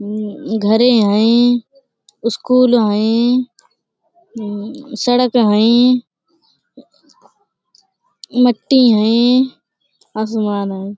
मम्म घरे हईं स्कूल हईं मम्म सड़क हईं मट्टी हईं आसमान हईं।